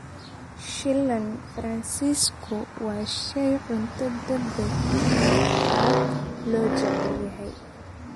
Shiilan Faransiisku waa shay cunto degdeg ah oo aad loo jecel yahay.